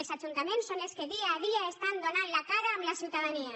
els ajuntaments són els que dia a dia donen la cara davant la ciutadania